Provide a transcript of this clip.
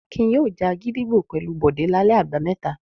Akin yóò já gídígbò pẹ̀lú Bọ̀dé lálẹ́ àbámẹ́ta.